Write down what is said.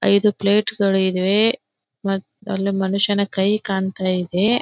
ಐದು ಪ್ಲೇಟ್ಗಳು ಇವೆ ಅಲ್ಲಿ ಮನುಷ್ಯನ ಕೈ ಕಾಣತ್ತಾಯಿದೆ.